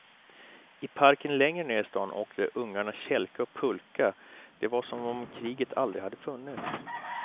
I parken längre ner i stan åkte ungarna kälke och pulka, det var som om kriget aldrig hade funnits.